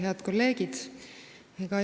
Head kolleegid!